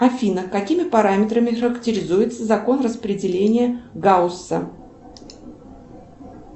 афина какими параметрами характеризуется закон распределения гаусса